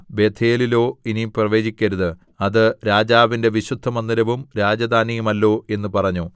ബേഥേലിലോ ഇനി പ്രവചിക്കരുത് അത് രാജാവിന്റെ വിശുദ്ധമന്ദിരവും രാജധാനിയുമല്ലോ എന്ന് പറഞ്ഞു